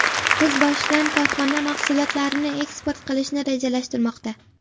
Kuz boshidan korxona mahsulotlarini eksport qilishni rejalashtirmoqda.